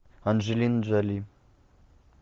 анджелина джоли